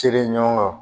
Siri ɲɔgɔn